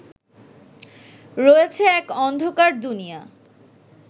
রয়েছে এক অন্ধকার দুনিয়া